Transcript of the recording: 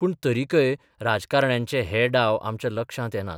पूण तरिकय राजकारण्यांचे हे डाव आमच्या लक्षांत येनात.